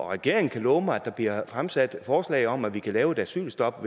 regeringen kunne love mig at der bliver fremsat forslag om at vi kan lave et asylstop